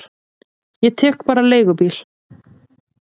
Ég tek bara leigubíl.